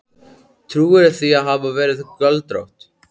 Trúirðu því að hún hafi verið göldrótt.